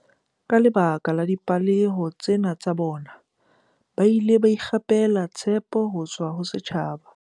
Ka lebaka la dipehelo tsena tsa bona, ba ile ba ikgapela tshepo ho tswa ho setjhaba.